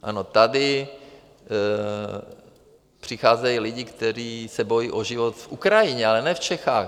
Ano, tady přicházejí lidé, kteří se bojí o život na Ukrajině, ale ne v Čechách.